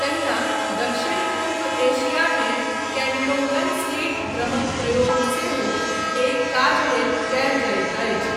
तहिना दक्षिण पूर्व एशियामे केन्टोंगन स्लिट ड्रमक प्रयोग सेहो एहि काज लेल कयल जाइत अछि।